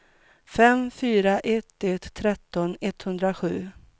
fem fyra ett ett tretton etthundrasju